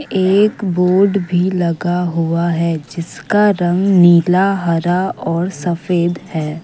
एक बोर्ड भी लगा हुआ है जिसका रंग नीला हरा और सफेद है।